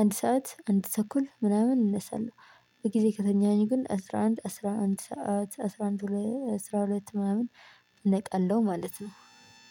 አንድ ሰዓት አንድ ተኩል ምናምን እነሳለሁ። በጊዜ ከተኛኝ ግን አስራ አንድ አስራ አንድ ሰዓት አስራ አንድ ሁለት አስራ ሁለት ምናምን ነቀለው ማለት ነው።